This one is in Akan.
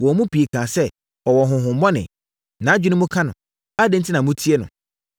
Wɔn mu pii kaa sɛ, “Ɔwɔ honhommɔne! Nʼadwene mu ka no! Adɛn enti na motie no?”